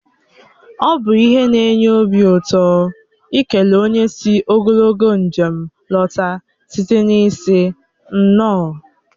Ọ bụ ihe na-enye obi ụtọ ikele onye sị ogologo njem lọta site n'ịsị "nnọọ"